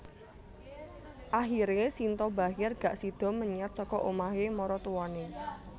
Akhire Shinta Bachir gak sido menyat saka omah e maratuwane